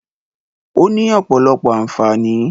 Ó ní ọ̀pọ̀lọpọ̀ àǹfààní.